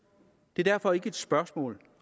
det er derfor ikke et spørgsmål